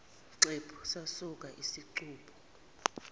xephu sasuka isicubu